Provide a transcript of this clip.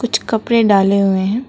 कुछ कपड़े डाले हुए हैं।